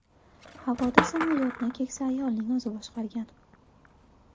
Havoda samolyotni keksa ayolning o‘zi boshqargan.